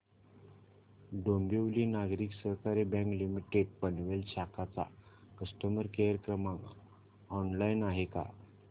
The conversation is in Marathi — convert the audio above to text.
डोंबिवली नागरी सहकारी बँक लिमिटेड पनवेल शाखा चा कस्टमर केअर क्रमांक ऑनलाइन आहे का